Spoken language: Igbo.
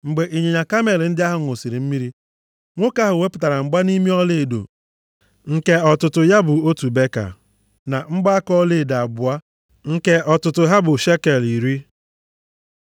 Mgbe ịnyịnya kamel ndị ahụ ṅụsịrị mmiri, nwoke ahụ wepụtara mgbanimi ọlaedo nke ọtụtụ ya bụ otu beka, + 24:22 Maọbụ, ọkara shekel na mgbaaka ọlaedo abụọ nke ọtụtụ ha bụ shekel iri.